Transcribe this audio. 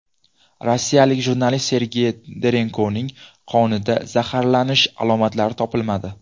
Rossiyalik jurnalist Sergey Dorenkoning qonida zaharlanish alomatlari topilmadi.